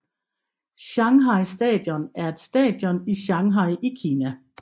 Shanghai Stadion er et stadion i Shanghai i Kina